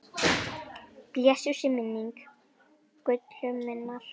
Blessuð sé minning Gullu minnar.